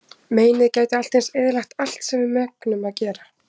Meinið gæti allt eins eyðilagt allt sem við megnum að gera.